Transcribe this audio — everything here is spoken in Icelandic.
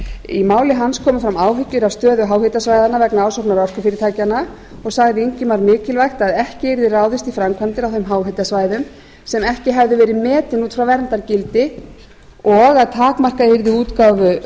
í máli hans komu fram áhyggjur afstöðu háhitasvæðanna vegna ásóknar orkufyrirtækjanna og sagði ingimar mikilvægt að ekki yrði ráðist í framkvæmdir á þeim háhitasvæðum sem ekki hefði verið metið út frá verndargildi og að takmarka yrði útgáfu